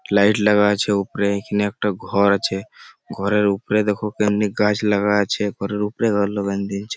Light লাগা আছে উপরে। ইখানে একটা ঘর আছে। ঘরের উপরে দেখ কেমনে গাছ লাগা আছে ঘরের উপরে গাছ লাগান দইছে।